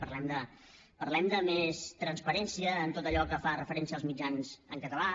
parlem de més transparència en tot allò que fa referència als mitjans en català